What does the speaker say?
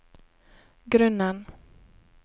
grunnen